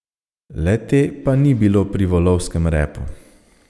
Le te pa ni bilo pri volovskem repu.